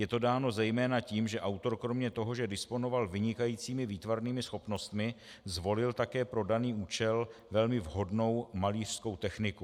Je to dáno zejména tím, že autor kromě toho, že disponoval vynikajícími výtvarnými schopnostmi, zvolil také pro daný účel velmi vhodnou malířskou techniku.